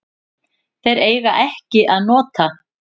Þeir eiga ekki að nota